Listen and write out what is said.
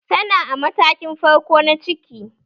Tana a matakin farko na ciki